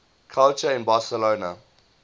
culture in barcelona